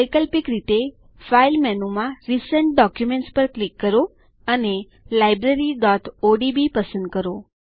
વૈકલ્પિક રીતે ફાઇલ મેનુમાં રિસેન્ટ ડોક્યુમેન્ટ્સ પર ક્લિક કરો અને libraryઓડીબી પસંદ કરો